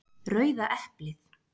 Rauða eplið.